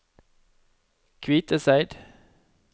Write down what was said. Kviteseid